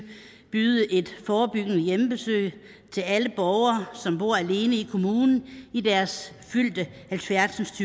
et forebyggende hjemmebesøg til alle borgere i som bor alene i i deres fyldte halvfjerds